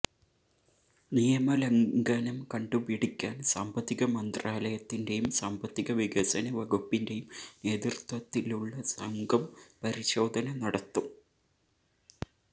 നിയമലംഘനം കണ്ടുപിടിക്കാന് സാമ്പത്തിക മന്ത്രാലയത്തിന്റെയും സാമ്പത്തിക വികസന വകുപ്പിന്റെയും നേതൃത്വത്തിലുള്ള സംഘം പരിശോധന നടത്തും